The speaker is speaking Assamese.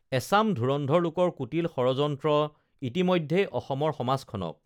এচাম ধুৰন্ধৰ লোকৰ কুটিল ষড়যন্ত্ৰ ইতিমধ্যেই অসমৰ সমাজখনক